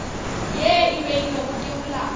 ye e beilwego ke molao